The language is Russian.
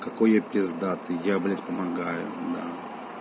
какой я пиздатый я блять помогаю да